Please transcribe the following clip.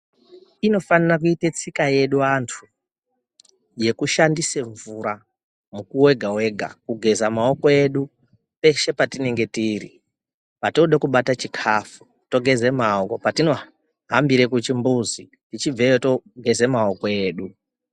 Inofanire kuite tsika yedu antu, yekushandisa mvura mukuwo wega-wega, kugeza maoko edu peshe patinenge tiri patinenge tode kubata chikafu togeza maoko, petinohambira kuchimbuzi, tichibveyo togeza maoko edu.